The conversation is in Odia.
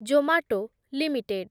Zomato limited